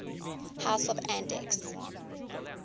house of andechs